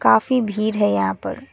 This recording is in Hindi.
काफ़ी भीड़ है यहाँ पर।